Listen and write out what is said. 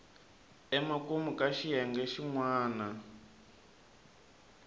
emakumu ka xiyenge xin wana